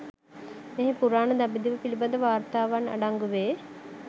මෙහි පුරාණ දඹදිව පිළිබඳ වාර්තාවන් අඩංගු වේ